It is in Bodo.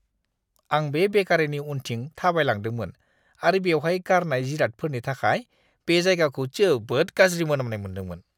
आं बे बेकारीनि उनथिं थाबायलांदोंमोन आरो बेवहाय गारनाय जिरादफोरनि थाखाय बे जायगाखौ जोबोद गाज्रि मोनामनाय मोन्दोंमोन!